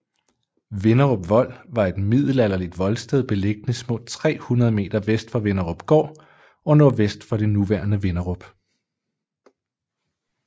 Vinderup Vold var et middelalderligt voldsted beliggende små 300 m vest for Vinderupgård og nordvest for det nuværende Vinderup